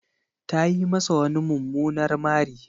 Ta yi masa wani mumunar mari.